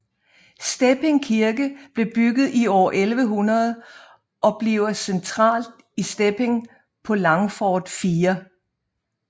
Stepping Kirke blev bygget i år 1100 og ligger centralt i Stepping på Langfort 4